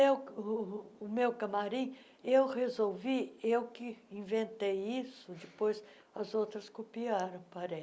Eu o o o meu camarim eu resolvi, eu que inventei isso, depois as outras copiaram,